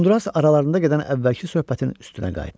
Uzunduras aralarında gedən əvvəlki söhbətin üstünə qayıtdı.